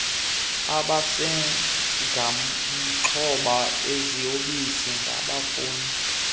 abasengamaxhoba eziyobisi bangafunda